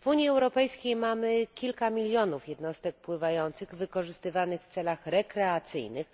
W Unii Europejskiej mamy kilka milionów jednostek pływających wykorzystywanych w celach rekreacyjnych,